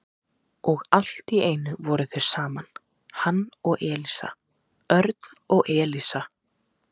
Og allt í einu voru þau saman, hann og Elísa, Örn og Elísa.